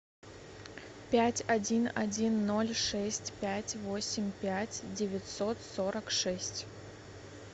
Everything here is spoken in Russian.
пять один один ноль шесть пять восемь пять девятьсот сорок шесть